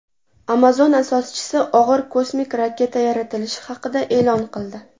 Amazon asoschisi og‘ir kosmik raketa yaratilishi haqida e’lon qildi.